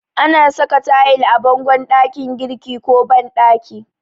Ana saka tayil a bangon ɗakin girki ko banɗaki.